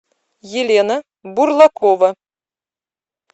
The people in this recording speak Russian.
елена бурлакова